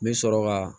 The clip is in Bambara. N bɛ sɔrɔ ka